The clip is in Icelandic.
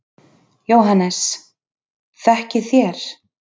JÓHANNES: Þekkið þér?